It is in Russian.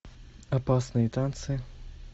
опасные танцы